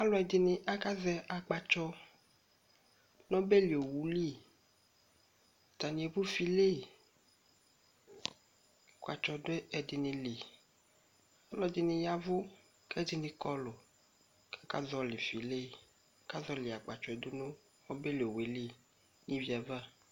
Alʋ ɛdɩnɩ aka zɛ akpatsɔ nobeli owuli; atanɩ evu file akpatsɔ dʋ ɛdɩnɩ liƆlɔ dɩnɩ yavu k' ɛdɩnɩ kɔlʋ kaka zɔlɩ file, ka zɔlɩ akpatsɔɛ dʋ nʋ obeli owue li n' ivi ava